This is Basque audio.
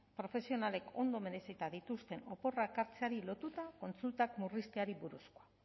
profesionalek ondo merezita dituzte oporrak hartzeari lotuta kontsultak murrizteari buruz